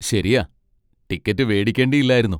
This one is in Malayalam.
ശരിയാ, ടിക്കറ്റ് വേടിക്കേണ്ടില്ലായിരുന്നു.